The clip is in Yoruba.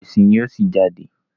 ọ̀pọ̀ ẹ̀sìn ní yíò sí jáde.